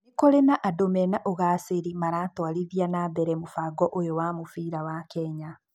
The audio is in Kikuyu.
Nĩ kurĩ andũ mena ũgacĩri maratwarithia na mbere mũbango ũyũ wa mũbira wa Kenya.